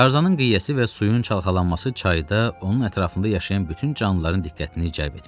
Tarzanın qıyəsi və suyun çalxalanması çayda onun ətrafında yaşayan bütün canlıların diqqətini cəlb etmişdi.